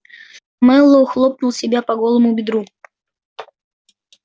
мэллоу хлопнул себя по голому бедру